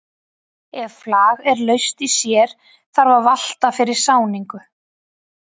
Ef flag er laust í sér þarf að valta fyrir sáningu.